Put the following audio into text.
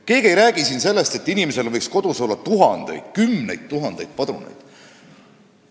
Keegi ei räägi siin sellest, et inimesel võiks kodus olla tuhandeid või kümneid tuhandeid padruneid.